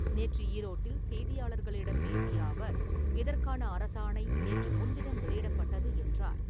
நேற்று ஈரோட்டில் செய்தியாளர்களிடம் பேசிய அவர், இதற்கான அரசாணை நேற்று முன்தினம் வெளியிடப்பட்டுள்ளது என்றார்.